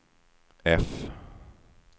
F